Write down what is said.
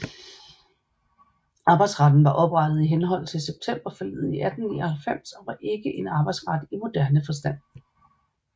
Arbejdsretten var oprettet i henhold til Septemberforliget i 1899 og var ikke en arbejdsret i moderne forstand